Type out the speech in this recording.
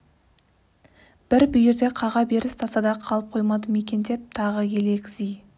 бір бүйірде қаға беріс тасада қалып қоймады ма екен деп тағы елегзи